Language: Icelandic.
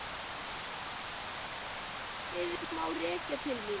allt sem fer úrskeiðis má rekja til mín.